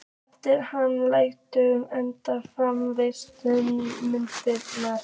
Eftir hann lægju einnig fimm fræðslukvikmyndir.